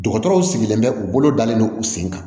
Dɔgɔtɔrɔw sigilen bɛ u bolo dalen don u sen kan